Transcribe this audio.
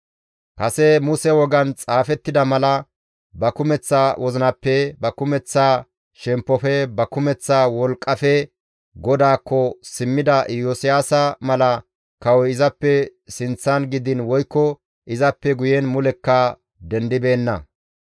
Kase Muse wogan xaafettida mala ba kumeththa wozinappe, ba kumeththa shemppofe, ba kumeththa wolqqafe GODAAKKO simmida Iyosiyaasa mala kawoy izappe sinththan gidiin woykko izappe guyen mulekka dendibeenna.